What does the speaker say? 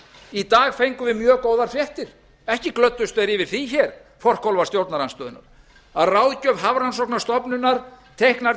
í dag fengum við mjög góðar fréttir ekki glöddust þeir yfir því hér forkólfar stjórnarandstöðunnar að ráðgjöf hafrannsóknastofnunar teiknar